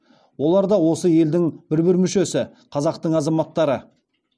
олар да осы елдің бір бір мүшесі қазақтың азаматтары